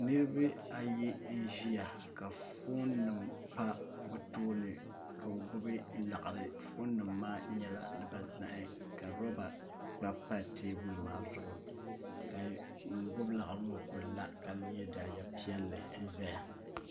niraba ayi n ʒiya ka foon nim pa bi tooni ka bi gbubi laɣari foon nim maa nyɛla dibanahi ka roba gba pa teebuli maa zuɣu ka ŋun gbubi laɣari ŋo ku la ka yɛ daliya piɛlli n ʒɛya